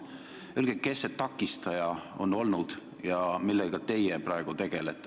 Öelge, kes see takistaja on olnud ja millega teie praegu tegelete.